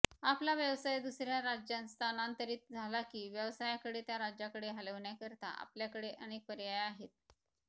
आपला व्यवसाय दुसर्या राज्यांत स्थानांतरित झाला की व्यवसायाकडे त्या राज्याकडे हलवण्याकरिता आपल्याकडे अनेक पर्याय आहेत